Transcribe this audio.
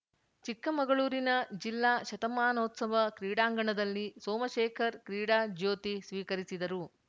ಚಿಕ್ಕಮಗಳೂರಿನ ಜಿಲ್ಲಾ ಶತಮಾನೋತ್ಸವ ಕ್ರೀಡಾಂಗಣದಲ್ಲಿ ಸೋಮಶೇಖರ್‌ ಕ್ರೀಡಾ ಜ್ಯೋತಿ ಸ್ವೀಕರಿಸಿದರು